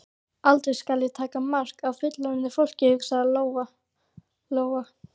Aldrei skal ég taka mark á fullorðnu fólki, hugsaði Lóa Lóa.